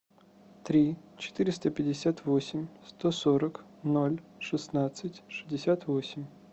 три четыреста пятьдесят восемь сто сорок ноль шестнадцать шестьдесят восемь